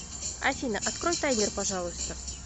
афина открой таймер пожалуйста